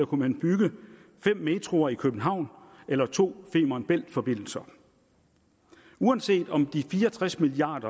kunne bygge fem metroer i københavn eller to femern bælt forbindelser uanset om de fire og tres milliard